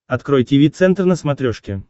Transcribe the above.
открой тиви центр на смотрешке